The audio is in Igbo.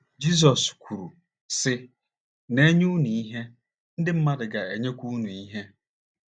Jizọs kwuru, sị: “ Na - enyenụ ihe, ndị mmadụ ga - enyekwa unu ihe.